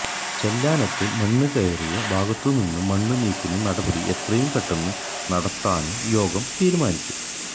ചെല്ലാനത്ത് മണ്ണുകയറിയ ഭാഗത്തുനിന്ന് മണ്ണ് നീക്കുന്ന നടപടി എത്രയും പെട്ടെന്ന് നടത്താനും യോഗം തീരുമാനിച്ചു